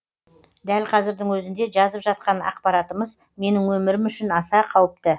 дәл қазірдің өзінде жазып жатқан ақпаратымыз менің өмірім үшін аса қауіпті